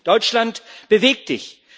Deutschland, beweg Dich!